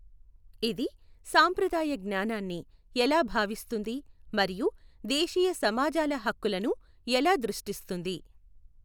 ఇది సాంప్రదాయ జ్ఞానాన్ని ఎలా భావిస్తుంది మరియు దేశీయ సమాజాల హక్కులను ఎలా దృష్టిస్తుంది?